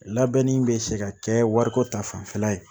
Labɛnni bɛ se ka kɛ wariko ta fanfɛla ye